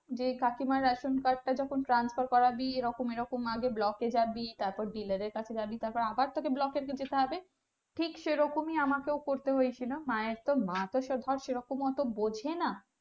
যে কাকিমার ration card টা যখন transfer করাবি এরকম এরকম যখন block এ যাবি তারপর dilar এর কাছে যাবি তারপর আবার তোকে block এ যে যেতে হবে ঠিক সেরকমই আমাকেও করতে হয়েছিল মায়ের তো মা তো সেরকম ধর অটো বোঝেনা